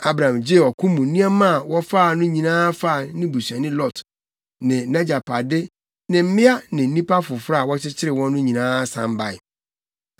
Abram gyee ɔko mu nneɛma a wɔfaa no nyinaa faa ne busuani Lot ne nʼagyapade ne mmea ne nnipa foforo a wɔkyekyeree wɔn no nyinaa san bae.